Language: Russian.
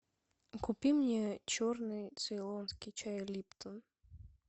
купи мне черный цейлонский чай липтон